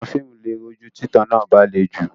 Àwọn fíìmù lè rújú tí ìtàn náà bá le jù.